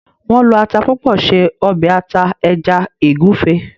Wón ló atá púpọ ṣe obe ata eja egufe.